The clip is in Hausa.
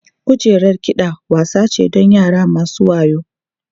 Kujerar kiɗa wasa ce don yara masu wayau.